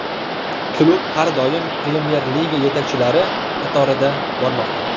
Klub har doim Premyer-liga yetakchilari qatorida bormoqda.